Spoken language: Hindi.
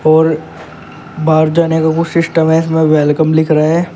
और बाहर जाने का कुछ सिस्टम है इसमें वेलकम लिख रहे --